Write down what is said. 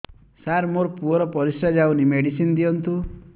ସାର ମୋର ପୁଅର ପରିସ୍ରା ଯାଉନି ମେଡିସିନ ଦିଅନ୍ତୁ